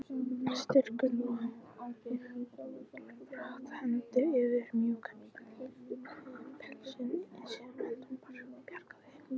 Strýkur ósjálfrátt hendi yfir mjúkan pelsinn sem Anton bjargaði.